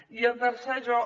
i en tercer lloc